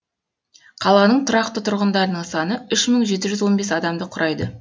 қаланың тұрақты тұрғындарының саны үш мың жеті жүз он бес адамды құрайды